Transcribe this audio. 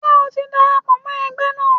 Ṣé o ti darapọ̀ mọ́ ẹgbẹ́ náà?